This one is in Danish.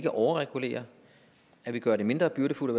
at overregulere at vi gør det mindre byrdefuldt